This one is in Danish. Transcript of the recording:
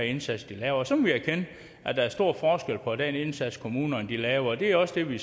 indsats de laver og så må vi erkende at der er stor forskel på den indsats kommunerne laver og det er også det vi